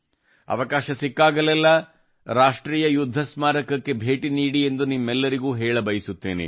ಅವಕಾಶ ಸಿಕ್ಕಾಗಲೆಲ್ಲ ರಾಷ್ಟ್ರೀಯ ಯುದ್ಧ ಸ್ಮಾರಕಕ್ಕೆ ಭೇಟಿ ನೀಡಿ ಎಂದು ನಿಮ್ಮೆಲ್ಲರಿಗೂ ಹೇಳಬಯಸುತ್ತೇನೆ